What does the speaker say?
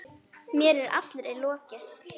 Mér er allri lokið.